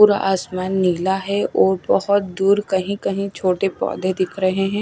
पूरा आसमान नीला है और बहोत दूर कहीं कहीं छोटे पौधे दिख रहे हैं।